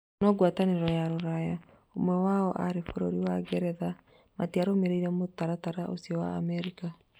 No ngũatanĩro ya Rũraya, ũmwe wayo arĩ bũrũri wa Ngeretha, matiarũmĩrĩire mũtaratara ũcio wa Amerika.